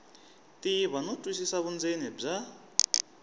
tiva no twisisa vundzeni bya